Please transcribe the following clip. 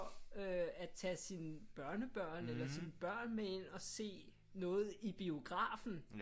Øh at tage sine børnebørn eller sine børn med ind og se noget i biografen